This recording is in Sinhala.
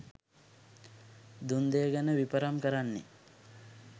දුන් දෙය ගැන විපරම් කරන්නේ